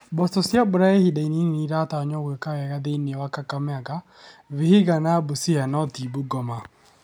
mboco cia mbura ya ihinda inini ni͂ iratanywo gwi͂ka wega thi͂ini͂ wa Kakamega, Vihiga na Busia no ti Bungoma.